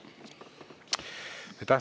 Aitäh!